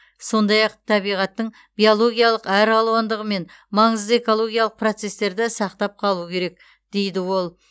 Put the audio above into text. сондай ақ табиғаттың биологиялық әралуандығы мен маңызды экологиялық процестерді сақтап қалу керек дейді ол